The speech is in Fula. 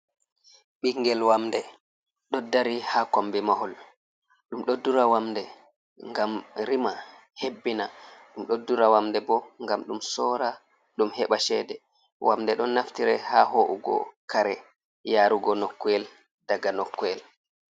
Ɓingel wamde ɗod dari ha kombi mahol, ɗum ɗoddura wamde gam rima, hebbina, ɗum ɗoddura wamde, bo gam ɗum sora dum heba chede, wamde ɗon naftire ha ho’ugo kare, yarugo nokkuyel, daga nokkuyel.